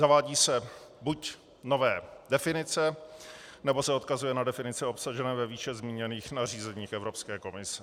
Zavádějí se buď nové definice, nebo se odkazuje na definice obsažené ve výše zmíněných nařízeních Evropské komise.